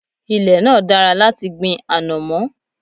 Ilẹ̀ náà dára láti gbin ànọ̀mó.